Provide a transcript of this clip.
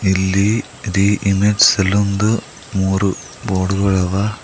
ಇಲ್ಲಿ ರೀ image salon ದು ಮೂರು ಬೋರ್ಡು ಗಳವ.